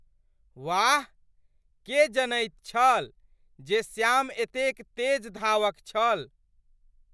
वाह! के जनैत छल जे श्याम एतेक तेज धावक छल?